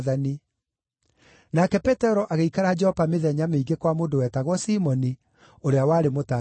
Nake Petero agĩikara Jopa mĩthenya mĩingĩ kwa mũndũ wetagwo Simoni, ũrĩa warĩ mũtanduki wa njũũa.